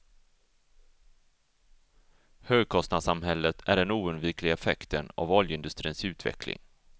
Högkostnadssamhället är den oundvikliga effekten av oljeindustrins utveckling.